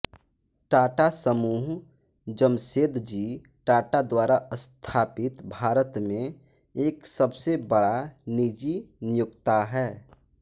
टाटा समूह जमशेदजी टाटा द्वारा स्थापित भारत में एक सबसे बड़ा निजी नियोक्ता है